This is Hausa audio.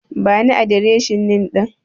Bani adireshin Inn ɗin.